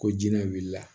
Ko jinɛ wulila